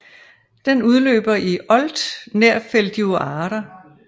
Den løber ud i Olt nær Feldioara